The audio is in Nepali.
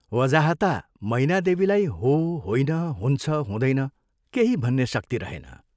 वजाहता मैनादेवीलाई हो, होइन, हुन्छ, हुँदैन केही भन्ने शक्ति रहेन।